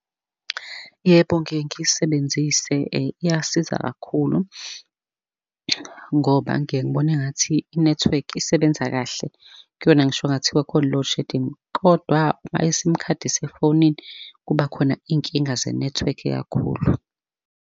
Yebo, ngike ngiyisebenzise iyasiza kakhulu ngoba ngike ngibona engathi i-network isebenza kahle kuyona, ngisho kungathiwa khona i-loadshedding. Kodwa uma i-sim khadi isefonini, kuba khona iy'nkinga zenethiwekhi kakhulu.